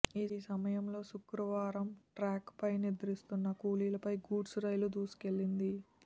ఈ సమయంలో శుక్రవారం ట్రాక్పై నిద్రిస్తున్న కూలీలపై గూడ్స్ రైలు దూసుకెళ్లింది